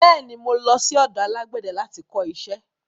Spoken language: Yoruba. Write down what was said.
Bẹ́ẹ̀ ni, mo lọ sí ọ̀dọ alágbẹ̀dẹ láti kọ iṣẹ́.